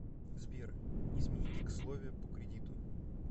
сбер измените ксловия по кредиту